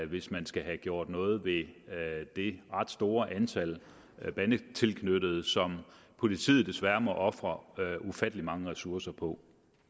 hvis man skal have gjort noget ved det ret store antal bandetilknyttede som politiet desværre må ofre ufattelig mange ressourcer på